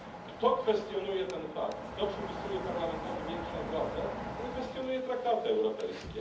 Kto kwestionuje ten fakt, kto przypisuje Parlamentowi większą władzę, ten kwestionuje traktaty europejskie.